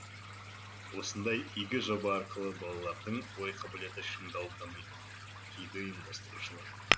осындай игі жоба арқылы балалардың ой қабілеті шыңдалып дамиды дейді ұйымдастырушылар